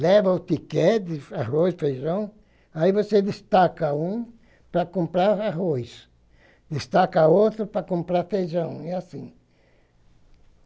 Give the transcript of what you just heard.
leva o tíquete, arroz, feijão, aí você destaca um para comprar o arroz, destaca outro para comprar o feijão, e é assim.